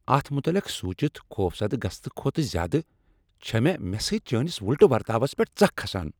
اتھ متعلق سونچِتھ، خوفزدہ گژھنہٕ کھوتہٕ زیادٕ، چھےٚ مےٚ مےٚ سۭتۍ چٲنس وُلٹہ ورتاوس پیٹھ ژکھ کھسان۔